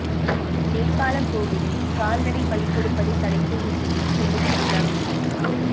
நேபாளக் கோவிலில் கால்நடை பலி கொடுப்பதை தடை செய்யக் கோரி சென்னையில் உண்ணாவிரதம்